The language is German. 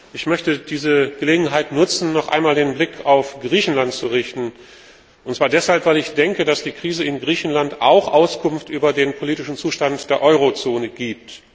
Ich möchte diese Gelegenheit nutzen, um noch einmal den Blick auf Griechenland zu richten, und zwar deshalb, weil ich denke, dass die Krise in Griechenland auch Auskunft über den politischen Zustand der Eurozone gibt.